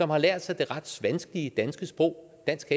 har lært sig det ret vanskelige danske sprog dansk